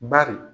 Bari